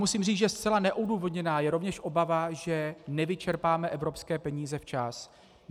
Musím říct, že zcela neodůvodněná je rovněž obava, že nevyčerpáme evropské peníze včas.